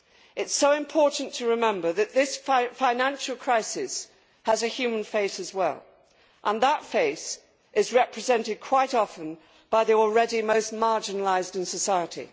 It is so important to remember that this financial crisis has a human face as well and that face is represented quite often by the already most marginalised in society.